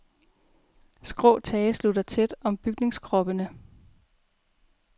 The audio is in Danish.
Skrå tage slutter tæt om bygningskroppene.